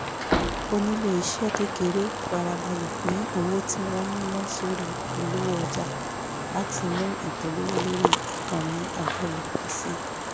oníléeṣẹ́ kékeré fara balẹ̀ pín owó tí wọ́n ń ná sórí ìpolówó ọjà láti mú ìpolówó lórí ìkànnì àjọlò pọ̀ sí i